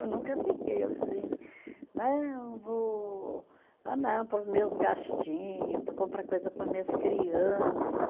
Eu nunca fiquei assim, não vou, não, para os meus gastinho, para comprar coisa para minhas criança.